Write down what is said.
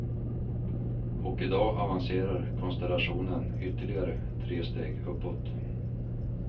Och i dag avancerar konstellationen ytterligare tre steg uppåt.